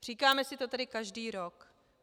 Říkáme si to tady každý rok.